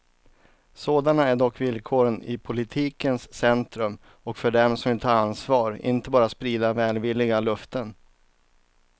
Sådana är dock villkoren i politikens centrum och för dem som vill ta ansvar, inte bara sprida välvilliga löften.